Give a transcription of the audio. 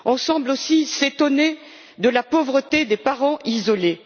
On semble aussi s'étonner de la pauvreté des parents isolés.